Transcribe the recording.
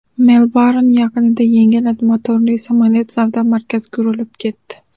Melburn yaqinida yengil motorli samolyot savdo markaziga urilib ketdi.